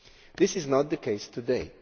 This is not the case today.